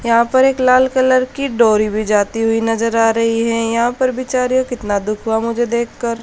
यहां पर एक लाल कलर की डोरी भी जाती हुई नजर आ रही है यहां पर बिचारी को कितना दुख हुआ मुझे देखकर।